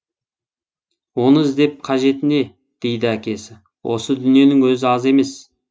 оны іздеп қажеті не дейді әкесі осы дүниенің өзі аз емес